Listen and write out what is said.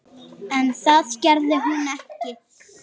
En það gerði hún ekki.